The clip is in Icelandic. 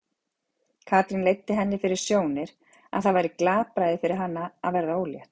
Katrín leiddi henni fyrir sjónir að það væri glapræði fyrir hana að verða ólétt.